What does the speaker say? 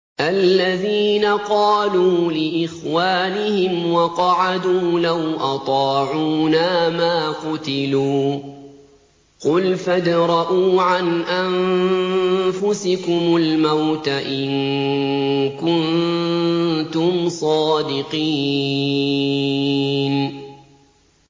الَّذِينَ قَالُوا لِإِخْوَانِهِمْ وَقَعَدُوا لَوْ أَطَاعُونَا مَا قُتِلُوا ۗ قُلْ فَادْرَءُوا عَنْ أَنفُسِكُمُ الْمَوْتَ إِن كُنتُمْ صَادِقِينَ